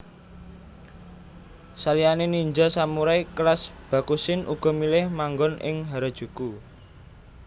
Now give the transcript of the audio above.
Saliyané ninja samurai kelas Bakushin uga milih manggon ing Harajuku